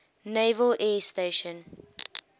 naval air station